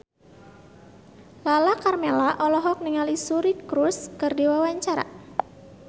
Lala Karmela olohok ningali Suri Cruise keur diwawancara